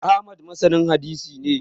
Ahmad masanin hadisi ne